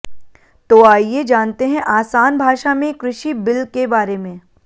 तो आइए जानते हैं आसान भाषा में कृषि बिल के बारे में